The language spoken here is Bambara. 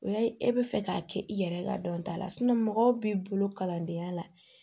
O y'a ye e bɛ fɛ k'a kɛ i yɛrɛ ka dɔnta la mɔgɔ b'i bolo kalandenya la